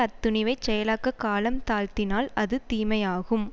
அத்துணிவைச் செயலாக்கக் காலம் தாழ்த்தினால் அது தீமையாகும்